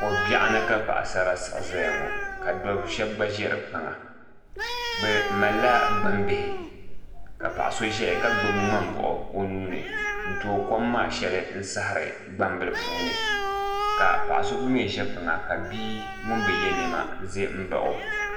Ko biɛɣu ni ka paɣasara siɣi ʒɛya ŋo ka dab shab gba ʒɛ di kpaŋa bi malila gbambihi ka paɣa so ʒɛya ka gbubi ŋmani buɣu o nuuni n tooi kom maa shɛli n saɣari gbambihi puuni ka paɣa so gba mii ʒɛ kpaŋa ka bia ŋun bi yɛ niɛma ʒɛ n baɣa o